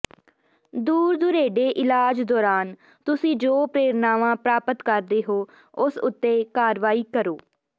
ਦੂਰ ਦੁਰੇਡੇ ਇਲਾਜ ਦੌਰਾਨ ਤੁਸੀਂ ਜੋ ਪ੍ਰੇਰਨਾਵਾਂ ਪ੍ਰਾਪਤ ਕਰਦੇ ਹੋ ਉਸ ਉੱਤੇ ਕਾਰਵਾਈ ਕਰੋ